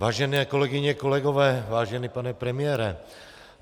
Vážené kolegyně, kolegové, vážený pane premiére.